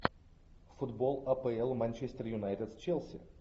футбол апл манчестер юнайтед с челси